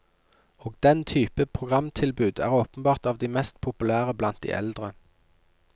Og den type programtilbud er åpenbart av de mest populære blant de eldre.